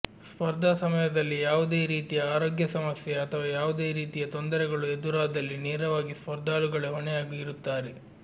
ಸ್ಪರ್ಧಾ ಸಮಯದಲ್ಲಿ ಯಾವುದೇ ರೀತಿಯ ಆರೋಗ್ಯ ಸಮಸ್ಯೆ ಅಥವಾ ಯಾವುದೇ ರೀತಿಯ ತೊಂದರೆಗಳು ಎದುರಾದಲ್ಲಿ ನೇರವಾಗಿ ಸ್ಪರ್ಧಾಳುಗಳೇ ಹೊಣೆಯಾಗಿರುತ್ತಾರೆ